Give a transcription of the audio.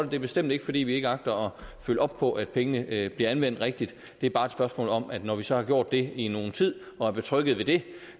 det er bestemt ikke fordi vi ikke agter at følge op på at pengene bliver anvendt rigtigt det er bare et spørgsmål om at når vi så har gjort det i nogen tid og er trygge ved det